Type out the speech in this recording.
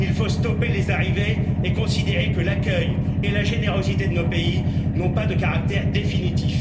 Il faut stopper les arrivées et considérer que l'accueil et la générosité de nos pays n'ont pas de caractère définitif.